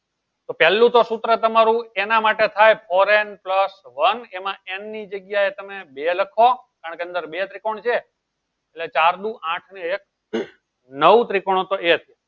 તો પેલું તો સૂત્ર તમારું એના માટે થાય four n plus one એમાં n ની જગ્યાએ તમે બે લખો કારણ કે અંદર બે ત્રિકોણ છે. ચાર દુ આઠ ને એક હમ નવ ત્રીકોણો તો એક